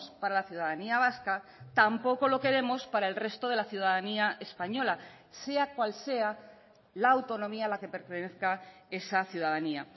para la ciudadanía vasca tampoco lo queremos para el resto de la ciudadanía española sea cual sea la autonomía a la que pertenezca esa ciudadanía